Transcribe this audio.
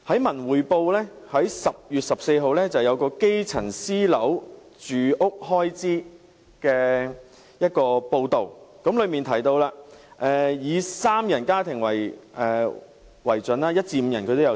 《文匯報》在10月14日刊登了一篇有關基層私樓住屋開支的報道，當中提到一至五人家庭的情況。